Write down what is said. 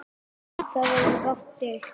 Um það verður varla deilt.